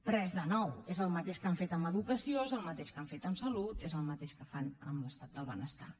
res de nou és el mateix que han fet en educació és el mateix que han fet en salut és el mateix que fan amb l’estat del benestar